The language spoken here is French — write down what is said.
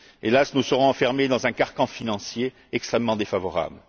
Hélas, nous serons enfermés dans un carcan financier extrêmement défavorable.